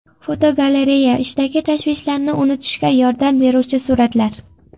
Fotogalereya: Ishdagi tashvishlarni unutishga yordam beruvchi suratlar.